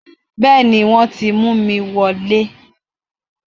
Bẹ́ẹ̀ni wọ́n ti mú mi wọ lé